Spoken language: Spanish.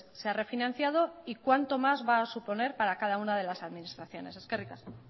se ha refinanciado y cuánto más va a suponer para cada una de las administraciones eskerrik asko